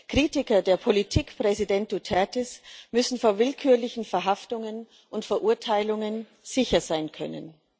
Kritiker der Politik Präsident Dutertes müssen vor willkürlichen Verhaftungen und Verurteilungen sicher sein können.